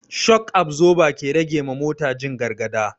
Shok absoba ke rage wa mota jin gargada